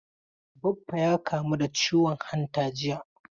Baffa ya kamu da ciwon hanta jiya.